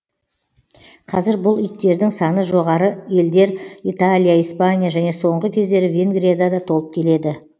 қазір бұл иттердің саны жоғары елдер италия испания және соңғы кездері венгрияда да толып келеді